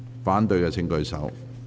反對的請舉手。